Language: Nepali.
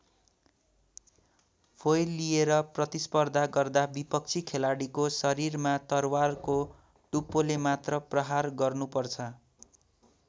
फोइल लिएर प्रतिस्पर्धा गर्दा विपक्षी खेलाडीको शरीरमा तरवारको टुप्पोले मात्र प्रहार गर्नुपर्छ।